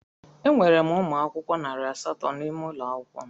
Enwere m ụmụ akwụkwọ narị asatọ n'ụlọ akwụkwọ m.